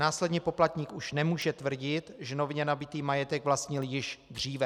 Následně poplatník už nemůže tvrdit, že nově nabytý majetek vlastnil již dříve.